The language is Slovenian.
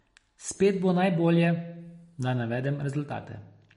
Spet bo najbolje, da navedem rezultate.